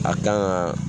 A kan ka